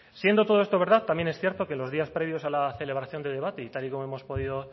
siendo todo esto verdad también es cierto que los días previos a la celebración de debate y tal y como hemos podido